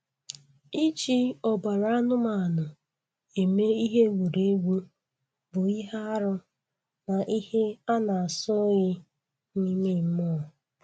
Iji ọbara anụmanụ eme ihe egwuregwu bụ ihe arụ na ihe a na-asọ oyi n'ime mmụọ.